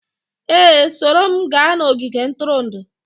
Ee, soro m gaa n'ogige ntụrụndụ